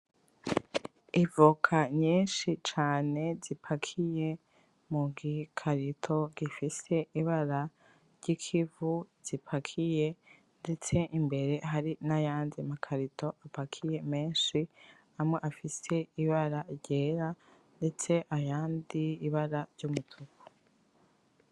Ivoka nyinshi cane zipakiye mu gikarito gifise ibara ry'ikivu zipakiye ndetse imbere hari n'ayandi makarito apakiye menshi amwe afise ibara ryera ndetse ayandi ibara ry'umutuku.